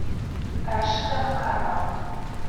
рашида макарова